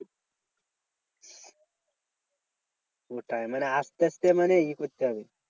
ওটাই মানে আসতে আসতে মানে ই করতে হবে।